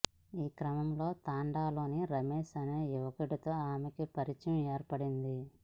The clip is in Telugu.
ఈ క్రమంలో తండాలోని రమేష్ అనే యువకుడితో ఆమెకు పరిచయం ఏర్పడింది